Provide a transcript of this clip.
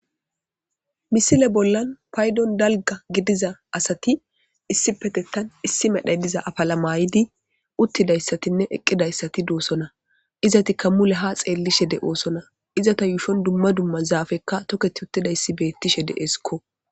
misile bollan paydon dalga gidiza asati issi petettan issi medhay diza afala maayidi uttidayssatinne eqqidayssati duosona izati kammule ha xeellishe de oosona izata yuushon dumma dumma zaafekka toketi uttidayssi beettishe de7esikko